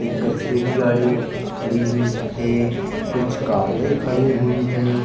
एक कचरे की गाड़ी है खड़ी हुई है। कुछ कारें खड़ी हुई हैं।